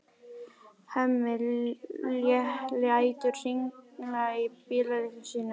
Hemmi lætur hringla í bíllyklunum sínum.